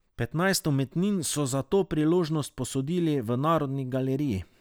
Petnajst umetnin so za to priložnost posodili v Narodni galeriji.